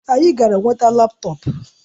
Anyị gara nweta laptọọpụ